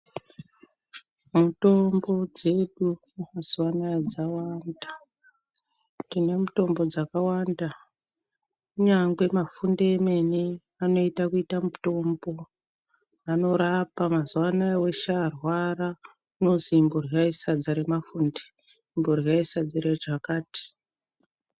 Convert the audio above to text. Mitombo dzedu mazuwa anaaya dzawanda. Tine mitombo dzakawanda. Kunyange mafunde emene anoita kuita mutombo. Anorapa. Mazuwa anaaya muntu weshe warwara unozwi imboryayi sadza remafunde, imboryai sadza rechakati.